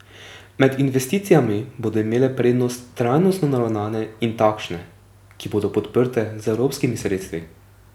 Med investicijami bodo imele prednost trajnostno naravnane in takšne, ki bodo podprte z evropskimi sredstvi.